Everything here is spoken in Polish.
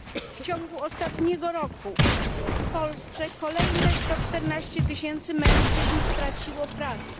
W ciągu ostatniego roku w Polsce kolejne 114 tysięcy mężczyzn straciło pracę.